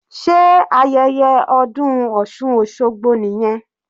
Sé ayẹyẹ ọdún osun osogbo nìyẹn?